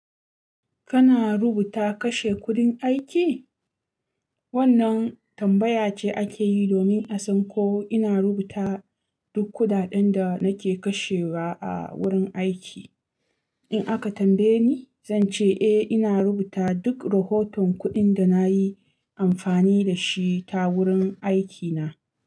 Kana rubuta kashe kuɗin aiki? Wannan tambaya ce ake yi domin a san ko ina rubuta duk kuɗaɗen da nake kashewa a wurin aiki. In aka tambaye ni, zan ce eh ina rubuta duk rahoton kuɗin da na yi amfani da shi ta wurin aikina.